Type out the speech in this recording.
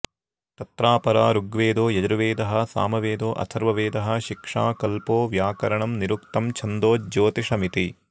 तत्रापरा ऋग्वेदो यजुर्वेदः सामवेदोऽथर्ववेदः शिक्षा कल्पो व्यकरणं निरुक्तं छन्दो ज्योतिषमिति